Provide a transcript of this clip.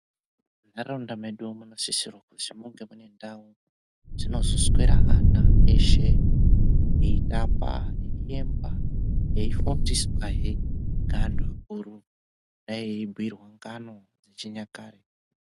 Mu ndaraunda medu muno sisirwe kuti munge mune ndau dzinozo swera ana eshe eitamba ei emba ei fundiswa he nge antu akuru kudai ei bhiirwa ngano yechinyakare.